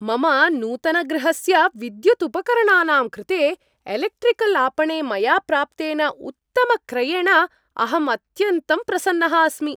मम नूतनगृहस्य विद्युदुपकरणानां कृते एलेक्ट्रिकल् आपणे मया प्राप्तेन उत्तमक्रयेण अहम् अत्यन्तं प्रसन्नः अस्मि।